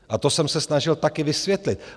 A to jsem se snažil také vysvětlit.